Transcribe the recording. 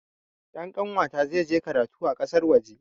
Ɗan kanwata zai je karatu a ƙasar waje